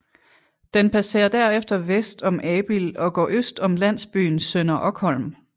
Den passerer derefter vest om Abild og går øst om landsbyen Sønder Okholm